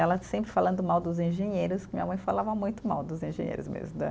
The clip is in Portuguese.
Ela sempre falando mal dos engenheiros, minha mãe falava muito mal dos engenheiros mesmo né.